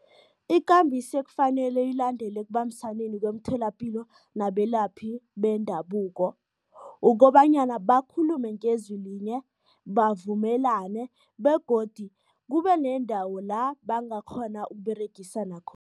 Ikambiso ekufanele ilandelwe ekubambisaneni kwemitholapilo nabelaphi bendabuko, ukobanyana bakhulume ngezwi linye, bavumelane begodi kube nendawo la bangakghona ukUberegisana